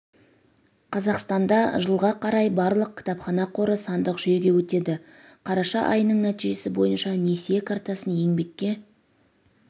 қазақстанда жылға қарай барлық кітапхана қоры сандық жүйеге өтеді қараша айының нәтижесі бойынша несие картасын еңбекке